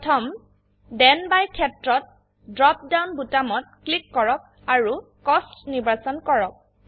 প্ৰথম then by ক্ষেত্ৰতড্ৰপ down বোতামত ক্লিক কৰক আৰু কষ্ট নিৰ্বাচন কৰক